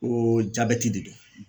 Ko jabɛti de don